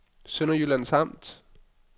Sønderjyllands Amt